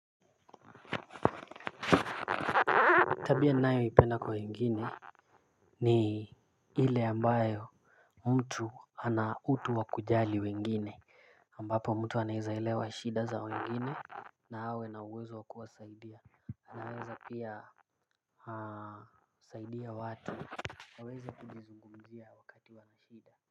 Tabia ninayoipenda kwa wengine ni ile ambayo mtu ana utu wa kujali wengine ambapo mtu anaeza elewa shida za wengine na awe na uwezo wa kuwasaidia anaweza pia saidia watu waweze kujizungumzia wakati wana shida.